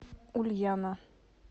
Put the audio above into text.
ульяна